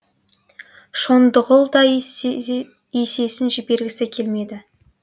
шондығұл да есесін жібергісі келмеді